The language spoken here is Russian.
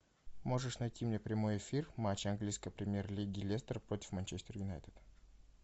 можешь найти мне прямой эфир матча английской премьер лиги лестер против манчестер юнайтед